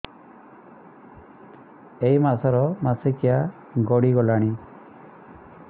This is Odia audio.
ଏଇ ମାସ ର ମାସିକିଆ ଗଡି ଗଲାଣି